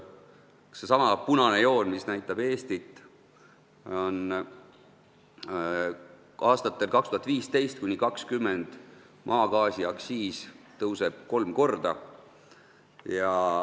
Jälle näitab punane joon Eestit: aastatel 2015–2020 tõuseb maagaasiaktsiis kolm korda.